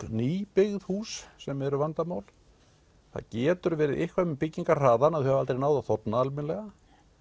nýbyggð hús sem eru vandamál það getur verið eitthvað með byggingarhraðann að þau hafi aldrei náð að þorna almennilega